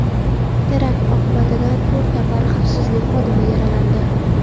Terakt oqibatida to‘rt nafar xavfsizlik xodimi yaralandi.